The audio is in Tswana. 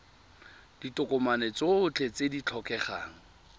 ditokomane tsotlhe tse di tlhokegang